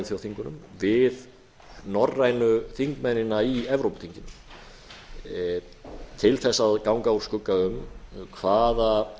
þjóðþingunum við norrænu þingmennina í evrópuþinginu til þess að ganga úr skugga um hvaða